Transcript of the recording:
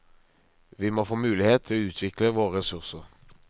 Vi må få mulighet til å utvikle våre ressurser.